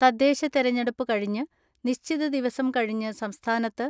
തദ്ദേശ തെരഞ്ഞ ടുപ്പ് കഴിഞ്ഞ് നിശ്ചിത ദിവസം കഴിഞ്ഞ് സംസ്ഥാനത്ത്